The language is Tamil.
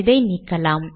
இதை நீக்கலாம்